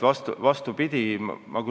Vastupidi!